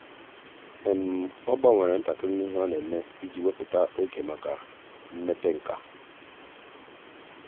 ọ́ gbanwere ntakịrị ihe ọ́ nà-ème iji wèpụ́tá oge màkà mmepe nkà.